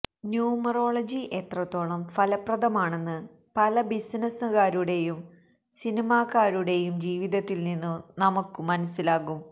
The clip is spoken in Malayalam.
ന്യൂമറോളജി എത്രത്തോളം ഫലപ്രദമാണെന്ന് പല ബിസിനസുകാരുടെയും സിനിമാക്കാരുടെയും ജീവിതത്തില് നിന്നു നമുക്കു മനസിലാകും